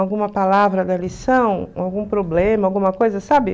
alguma palavra da lição, algum problema, alguma coisa, sabe?